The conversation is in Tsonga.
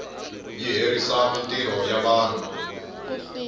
yi herisa mintirho ya vanhu